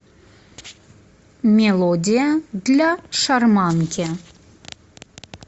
мелодия для шарманки